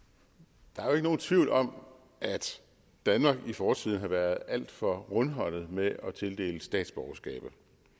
der er nogen tvivl om at danmark i fortiden har været alt for rundhåndet med at tildele statsborgerskaber